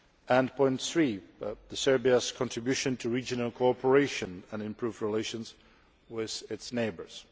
And point three, Serbia's contribution to regional cooperation and improved relations with its neighbours.